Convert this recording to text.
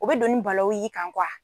U be don ni balawu y'i kan kuwa